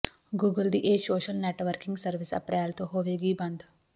Google ਦੀ ਇਹ social networking service April ਤੋਂ ਹੋਵੇਗੀ ਬੰਦ